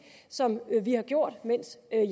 som vi har gjort mens jeg